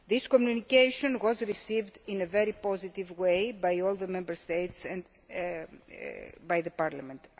This communication has been received in a very positive way by all the Member States and, I hope, by Parliament.